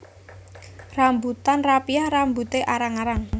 Rambutan rapiah rambuté arang arang